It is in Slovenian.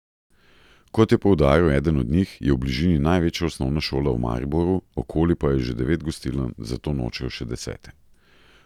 Kot je poudaril eden od njih, je v bližini največja osnovna šola v Mariboru, okoli pa je že devet gostiln, zato nočejo še desete.